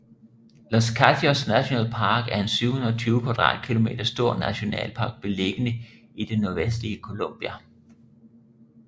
Los Katíos National Park er en 720 km² stor nationalpark beliggende i det nordvestlige Colombia